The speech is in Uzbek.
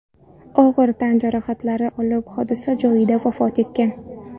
og‘ir tan jarohatlari olib hodisa joyida vafot etgan.